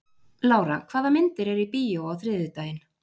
Lára, hvaða myndir eru í bíó á þriðjudaginn?